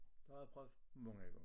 Det har jeg prøvet mange gange